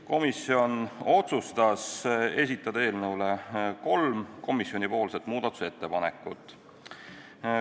Komisjon otsustas esitada eelnõu kohta kolm muudatusettepanekut.